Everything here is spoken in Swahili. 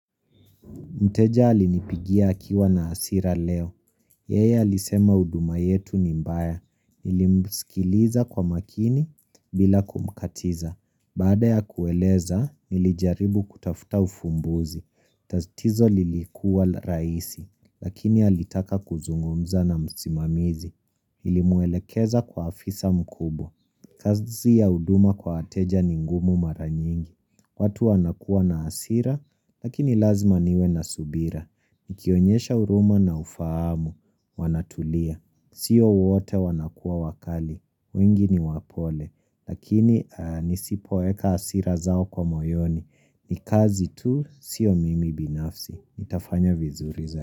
Mteja alinipigia akiwa na hasira leo. Yeya alisema huduma yetu ni mbaya. Nilimsikiliza kwa makini bila kumkatiza. Baada ya kueleza, nilijaribu kutafuta ufumbuzi. Tatizo lilikuwa raisi, lakini alitaka kuzungumza na msimamizi. Nilimuelekeza kwa afisa mkubwa. Kazi ya huduma kwa wateja ningumu maranyingi, kwa tu wanakuwa na hasira, lakini lazima niwe na subira, nikionyesha huruma na ufahamu, wanatulia, sio wote wanakuwa wakali, wengi ni wapole, lakini nisipoeka hasira zao kwa moyoni, nikazi tu sio mimi binafsi, itafanya vizuri zao.